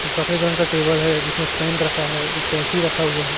एक सफेद रंग का टेबल है जिसमें पेन रखा है एक कैंची रखा हुआ है।